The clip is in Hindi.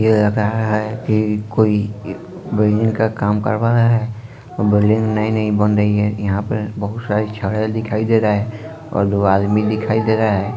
ये लग रहा है कि कोई बिल्डिंग का काम कर रहा है बिल्डिंग नई नई बन रही है यहाँ पे बहुत सारी छड़े दिखाई दे रहा है और दो आदमी दिखाई दे रहा है।